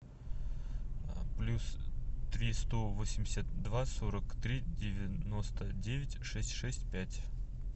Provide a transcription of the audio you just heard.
плюс три сто восемьдесят два сорок три девяносто девять шесть шесть пять